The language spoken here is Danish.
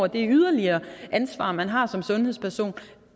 det yderligere ansvar man har som sundhedsperson